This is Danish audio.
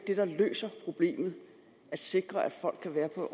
at sikre at folk kan være på